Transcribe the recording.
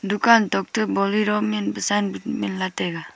dukan tokto bolero min pa sign minla taiga.